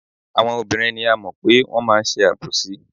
Àwọn obìnrin ni a mọ̀ pé wọ́n máa ń ṣe àbòsí.